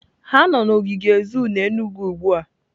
Ha nọ n'ogige zoo n'Enugwu ugbua.